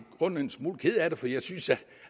grunden en smule ked af det for jeg synes